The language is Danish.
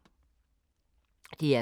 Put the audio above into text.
DR K